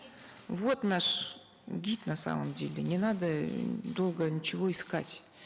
вот наш гид на самом деле не надо эээ долго ничего искать